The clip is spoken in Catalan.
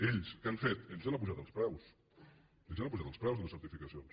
ells què han fet ells han apujat els preus ells han apujat els preus de les certificacions